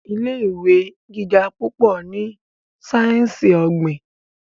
ilé ìwé gíga púpọ ní sáyẹnsì ogbin.